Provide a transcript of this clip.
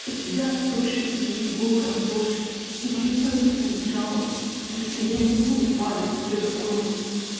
у тебя тоже есть голая обложки я не пойду на них жаловаться потому что я не буду падать до такой